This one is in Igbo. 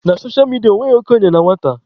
Na socha midia, enweghị okenye na nwata.